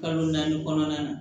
Kalo naani kɔnɔna na